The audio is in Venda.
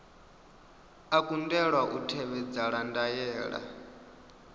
a kundelwa u tevhedzela ndaela